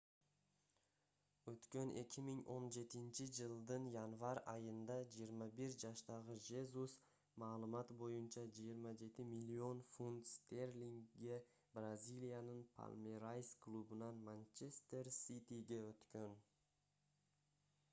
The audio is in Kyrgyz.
өткөн 2017-жылдын январь айында 21 жаштагы жезус маалымат боюнча 27 миллион фунт стерлингге бразилиянын палмерайс клубунан манчестер ситиге өткөн